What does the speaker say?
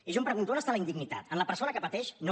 i jo em pregunto on està la indignitat en la persona que pateix no